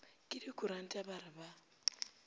ke dikuranta ba re ba